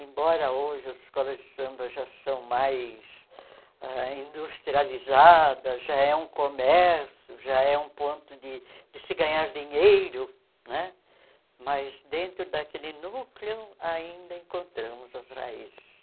Embora hoje as escolas de samba já são mais ãh industrializadas, já é um comércio, já é um ponto de de se ganhar dinheiro né, mas dentro daquele núcleo ainda encontramos as raízes.